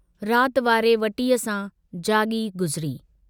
रात वारे वटीअ सां जागी गुज़री।